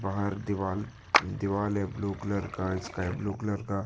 बाहर दीवाल दीवाल है ब्लू कलर का स्काई ब्लू कलर का--